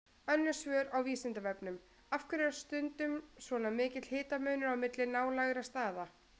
Önnur svör á Vísindavefnum: Af hverju er stundum svona mikill hitamunur á milli nálægra staða?